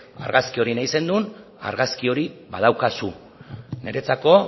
argazki hori nahi zenuen argazki hori badaukazu niretzako